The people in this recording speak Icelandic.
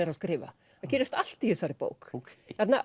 er að skrifa það gerist allt í þessari bók